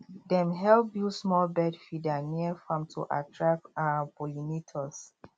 dem help build small bird feeder near farm to attract um pollinators